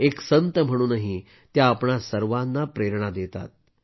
एक संत म्हणूनही त्या आपल्या सर्वांना प्रेरणा देतात